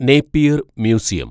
Napier‍ museum